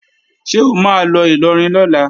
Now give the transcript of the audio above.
Ṣé o máa lọ Ìlọrin lọ́la?